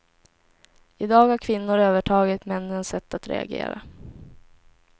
I dag har kvinnor övertagit männens sätt att reagera.